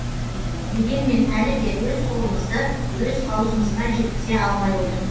дегенмен әлі де өз қолымызды өз аузымызға жеткізе алмай отырмыз